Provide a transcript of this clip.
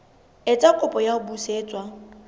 etsa kopo ya ho busetswa